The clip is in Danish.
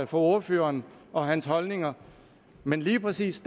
for ordføreren og hans holdninger men lige præcis